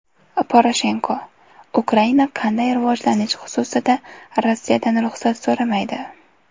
Poroshenko: Ukraina qanday rivojlanish xususida Rossiyadan ruxsat so‘ramaydi.